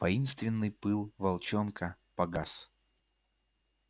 воинственный пыл волчонка погас